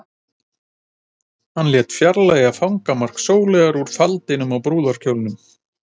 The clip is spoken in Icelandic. Hann lét fjarlægja fangamark Sóleyjar úr faldinum á brúðarkjólnum.